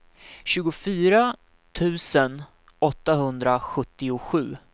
tjugofyra tusen åttahundrasjuttiosju